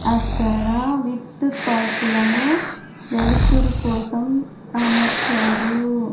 అక్కడ విద్దుత్ బల్పులను వెలుతురు కోసం అమర్చారు.